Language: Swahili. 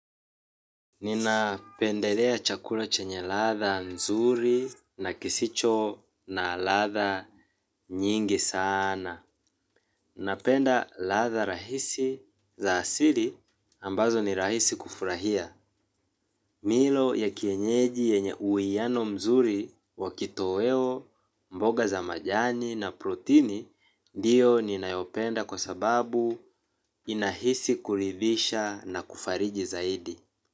Nina pendelea chakula chenye ladha nzuri na kisicho na ladha nyingi sana. Napenda ladha rahisi za asili ambazo ni rahisi kufurahia. Milo ya kienyeji yenye uhiyano mzuri wakitoweo, mboga za majani na protini, ndio ninayopenda kwa sababu inahisi kuridhisha na kufariji zaidi.